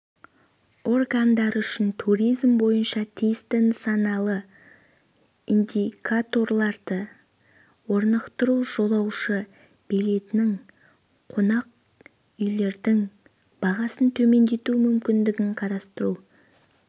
органдар үшін туризм бойынша тиісті нысаналы индикаторларды орнықтыру жолаушы билеттерінің қонақүйлердің бағасын төмендету мүмкіндігін қарастыру